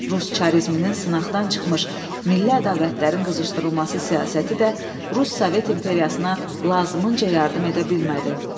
Rus çarizminin sınaqdan çıxmış milli ədavətlərin qızışdırılması siyasəti də Rus Sovet imperiyasına lazımi kömək edə bilmədi.